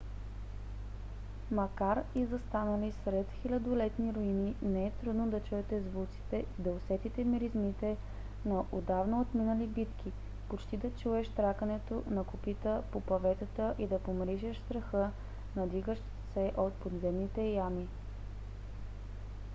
макар и застанали сред хилядолетни руини не е трудно да чуете звуците и да усетите миризмите на отдавна отминали битки почти да чуеш тракането на копита по паветата и да помиришеш страха надигащ се от подземните ями